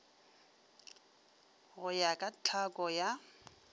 go ya ka tlhako ya